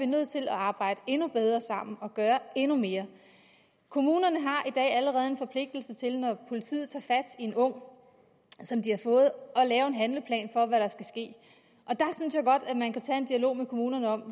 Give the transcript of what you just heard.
nødt til at arbejde endnu bedre sammen og gøre endnu mere kommunerne har i dag allerede en forpligtelse til når politiet tager fat i en ung at lave en handleplan for hvad der skal ske og der synes jeg godt at man kan tage en dialog med kommunerne om